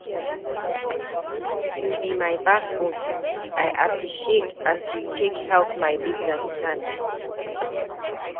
You be my backbone, I appreciate as you take help my business stand.